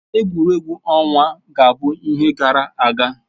Egwuregwu ọnwa ga-abụ ihe gara aga